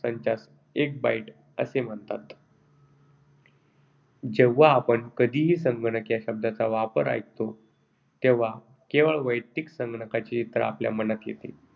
संचास एक Bit असे म्हणतात. जेव्हा आपण कधीही संगणक या शब्दाचा वापर ऐकतो तेव्हा केवळ वैयक्तिक संगणकाचे चित्र आपल्या मनात येते.